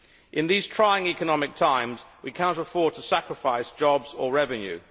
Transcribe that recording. In these trying economic times we cannot afford to sacrifice jobs or revenue.